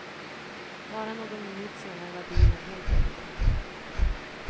Bara någon minut senare var bilen helt övertänd.